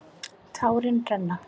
Tárin renna.